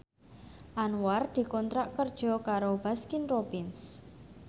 Anwar dikontrak kerja karo Baskin Robbins